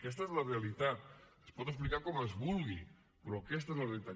aquesta és la realitat es pot explicar com es vulgui però aquesta és la realitat